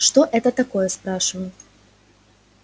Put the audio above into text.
что это такое спрашиваю